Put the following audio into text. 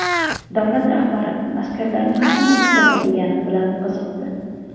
Davlat rahbari askarlarning qanday kitob o‘qigani bilan qiziqdi.